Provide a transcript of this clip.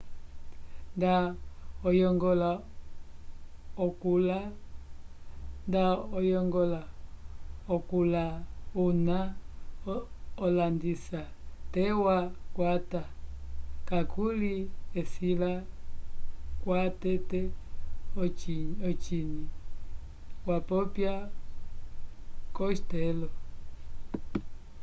nda oyongola okula una olandisa te twa ukwata kakuli esila kwa tete ociny wapopya costello